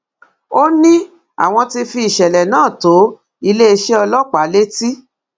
ó ní àwọn ti fi ìṣẹlẹ náà tó iléeṣẹ ọlọpàá létí